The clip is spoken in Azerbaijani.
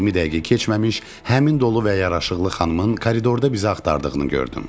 20 dəqiqə keçməmiş həmin dolu və yaraşıqlı xanımın koridorda bizi axtardığını gördüm.